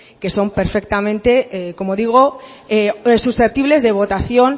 que son perfectamente como digo susceptibles de votación